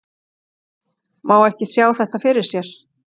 Má ekki sjá þetta fyrir sér?